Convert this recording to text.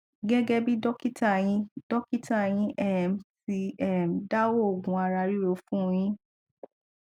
gẹgẹ bí dọkítà yín dọkítà yín um ti um dá òògùn ara ríro fún un yín